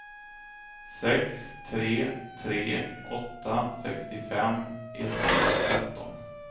sex tre tre åtta sextiofem etthundratretton